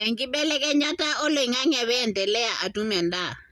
enkibelekenyata oloingange peendelea atum endaa.